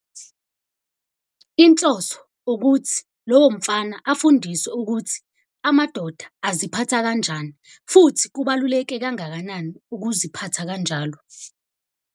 Inhloso ukuthi lowo mfana afundiswe ukuthi amadoda aziphatha kanjani, futhi kubaluleke kangakanani ukuziphatha kanjalo.